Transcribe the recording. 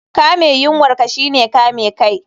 Kame yunwar ka shine kame kai